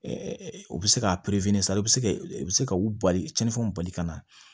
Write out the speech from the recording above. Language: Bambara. u bɛ se ka san i bɛ se i bɛ se ka u bali cɛnnifɛnw bali ka na